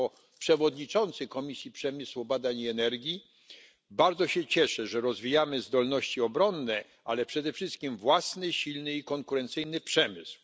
Jako przewodniczący Komisji Przemysłu, Badań i Energii bardzo się cieszę, że rozwijamy zdolności obronne, ale przede wszystkim własny, silny i konkurencyjny przemysł.